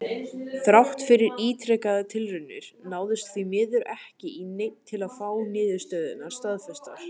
Þrátt fyrir ítrekaðar tilraunir náðist því miður ekki í neinn til að fá niðurstöðurnar staðfestar.